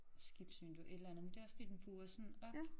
Skibsvindue et eller andet men det også fordi den buer sådan op